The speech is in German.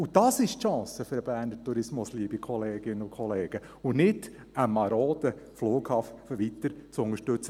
Dies ist die Chance für den Berner Tourismus, liebe Kolleginnen und Kollegen, und nicht, einen maroden Flughafen weiter zu unterstützen.